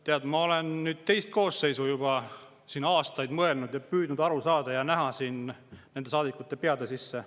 Tead, ma olen nüüd juba teist koosseisu siin, aastaid olen mõelnud, püüdnud aru saada ja näha nende saadikute peade sisse.